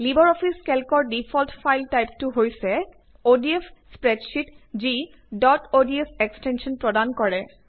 Libre Office কেল্কৰ default file টাইপটো হৈছে অডিএফ স্প্ৰেডশীট যি ডট অডছ এক্সটেঞ্চন প্ৰদান কৰে